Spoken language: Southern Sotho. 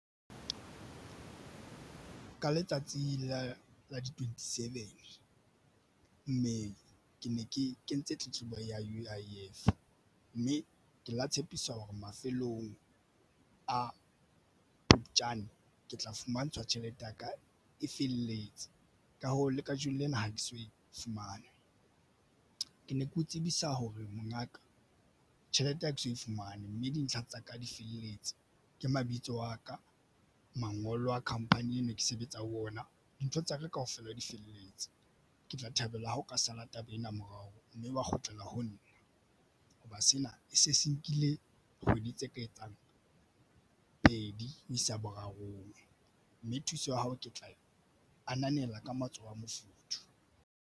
Ka letsatsi la la di-twenty-seven mme ke ne ke kentse tletlebo ya U_I_F, mme ke la tshepiswa hore mafelong a Phupjane ke tla fumantshwa tjhelete ya ka e felletse. Ka hoo le kajeno lena ha ke so e fumane ke ne ke o tsebisa hore mongaka tjhelete ha ke so e fumane, mme dintlha tsa ka di felletse ke mabitso a ka mangolo a khamphani ene ke sebetsa ho yona dintho tsa ka kaofela di felletse. Ke tla thabela ha o ka sala taba ena morao mme wa kgutlela ho nna hoba sena e se se nkile kgwedi tse ka etsang pedi ho isa borarong mme thuso ya hao ke tla ananela ka matsoho a mofuthu.